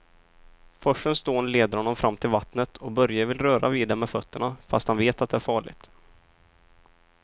Forsens dån leder honom fram till vattnet och Börje vill röra vid det med fötterna, fast han vet att det är farligt.